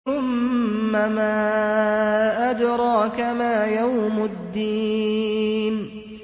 ثُمَّ مَا أَدْرَاكَ مَا يَوْمُ الدِّينِ